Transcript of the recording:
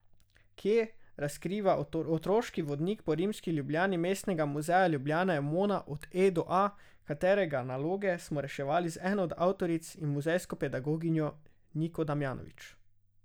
Kje, razkriva otroški vodnik po rimski Ljubljani Mestnega muzeja Ljubljana Emona od E do A, katerega naloge smo reševali z eno od avtoric in muzejsko pedagoginjo Niko Damjanovič.